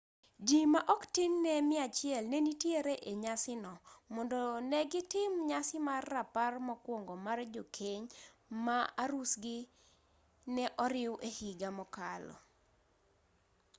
ji ma ok tin ne 100 ne nitiere e nyasi no mondo ne gitim nyasi mar rapar mokuongo mar jokeny ma arusgi ne oriw e higa mokalo